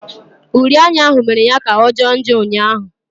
Uri anya ahụ mere ya kà ọ jọọ njọ ụnyaahụ.